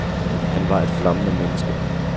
Han var et flammende menneske.